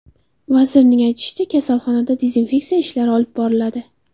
Vazirning aytishicha, kasalxonada dezinfeksiya ishlari olib boriladi.